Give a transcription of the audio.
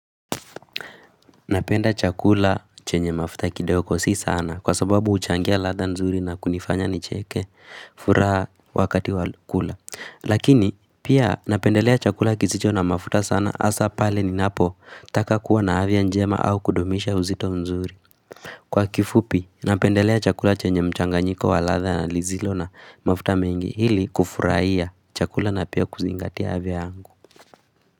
Napenda chakula chenye mafuta kidogo si sana kwa sababu uchangia ladha nzuri na kunifanya nicheke furaha wakati wakula. Lakini pia napendelea chakula kisicho na mafuta sana asa pale ninapotaka kuwa na afya njema au kudumisha uzito mzuri. Kwa kifupi napendelea chakula chenye mchanganyiko wa ladha na lizilo na mafuta mengi ili kufurahia chakula na pia kuzingatia afya yangu.